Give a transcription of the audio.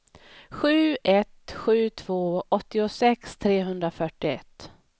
sju ett sju två åttiosex trehundrafyrtioett